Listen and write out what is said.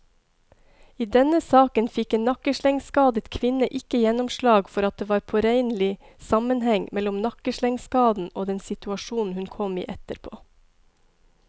I denne saken fikk en nakkeslengskadet kvinne ikke gjennomslag for at det var påregnelig sammenheng mellom nakkeslengskaden og den situasjonen hun kom i etterpå.